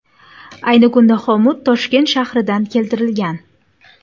Ayni kunda xomut Toshkent shahridan keltirilgan.